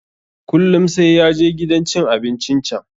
Kullum sai ya je gidan cin abincin can.